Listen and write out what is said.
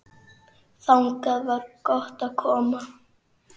Þangað var gott að koma.